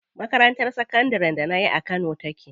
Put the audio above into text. Makarantar sakandarin da nayi a kano take.